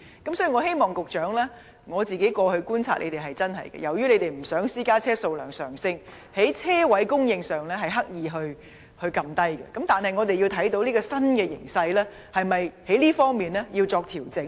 局長，我過去的觀察是，由於政府不想私家車數量上升，因此刻意減少車位的供應，但鑒於現時這種新形勢，這方面是否要作調整呢？